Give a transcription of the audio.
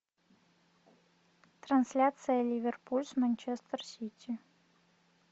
трансляция ливерпуль с манчестер сити